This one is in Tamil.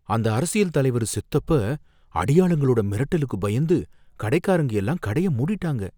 அந்த அரசியல் தலைவரு செத்தப்ப, அடியாளுங்களோட மிரட்டலுக்கு பயந்து கடைக்காரங்க எல்லாரும் கடைய மூடிட்டாங்க.